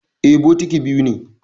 Eh, bokiti biyu ne.